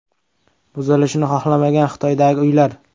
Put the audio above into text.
Buzilishni xohlamagan Xitoydagi uylar.